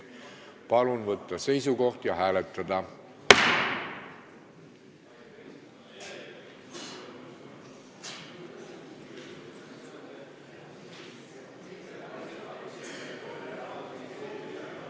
Palun võtta seisukoht ja hääletada!